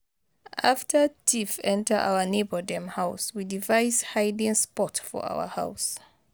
After thief enter our neighbor dem house, we device hiding spot for our house.